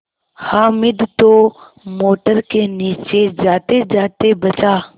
हामिद तो मोटर के नीचे जातेजाते बचा